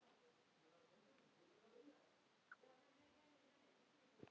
Svo spennan eykst.